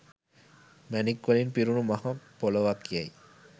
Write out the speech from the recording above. මැණික්වලින් පිරුණු මහ පොළොවකැයි